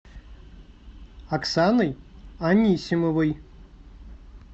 оксаной анисимовой